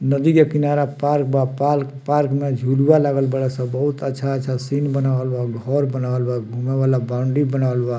नदी के किनारा पार्क बा पाल पार्क में झुलवा लागल बाड़े सन बहुत अच्छा-अच्छा सीन बनावल बा घर बनावल बा घूमे वला बाउंड्री बनावल बा।